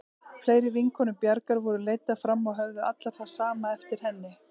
Fleiri vinkonur Bjargar voru leiddar fram og höfðu allar það sama eftir henni.